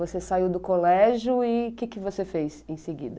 Você saiu do colégio e o que que você fez em seguida?